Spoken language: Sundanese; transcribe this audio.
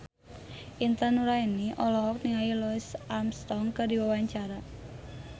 Intan Nuraini olohok ningali Louis Armstrong keur diwawancara